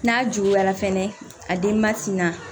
N'a juguyara fɛnɛ a den ma tina